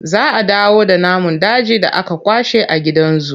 Za a dawo da namun dajin da aka kwashe a gidan zu.